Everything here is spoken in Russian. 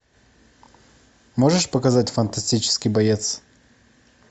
можешь показать фантастический боец